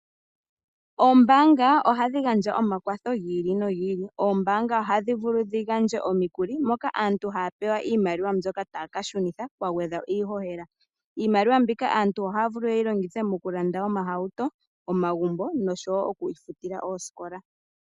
Oombaanga ohadhi gadja omakwatho gi ili no gi ili. Oombanga ohadhivulu dhi gandje omikuli moka aantu haya pewa iimaliwa mbyoka taaka shunitha pagwedhwa iihohela. Iimaliwa mbika aantu ohaya vulu yeyi longithe okulanda omahauto, omagumbo noshowoo okutsikila osikola.